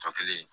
Tɔ kelen